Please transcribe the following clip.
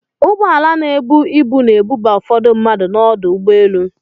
Ụgbọala na-ebu ibu na-ebuba ụfọdụ mmadụ n'ọdụ ụgbọelu.